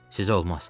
Sizə olmaz.